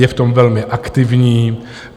Je v tom velmi aktivní.